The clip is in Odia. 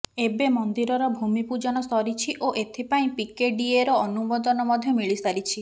ଏବେ ମନ୍ଦିରର ଭୂମି ପୂଜନ ସରିଛି ଓ ଏଥିପାଇଁ ପିକେଡିଏର ଅନୁମୋଦନ ମଧ୍ୟ ମିଳିସାରିଛି